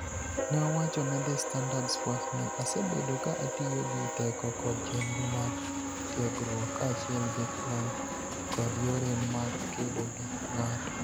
Ne owacho ne The Standard Sports ni, "Asebedo ka atiyo gi teko kod chenro mar tiegruok kaachiel gi lony kod yore mag kedo gi ng'ato.